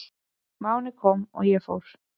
Máni kom og ég fór.